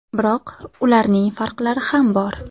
Biroq ularning farqlari ham bor.